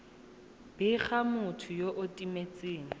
bega motho yo o timetseng